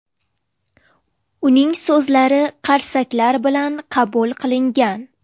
Uning so‘zlari qarsaklar bilan qabul qilingan.